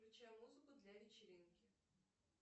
включи музыку для вечеринки